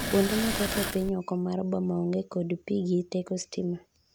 kuonde mathoth e piny oko mar boma onge kod pi gi teko sitima